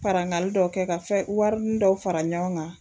Farangali dɔ kɛ ka fɛ warini dɔw fara ɲɔgɔn kan